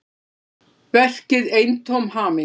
Verkið eintóm hamingja